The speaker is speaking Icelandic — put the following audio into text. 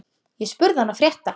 Ég spurði hana frétta.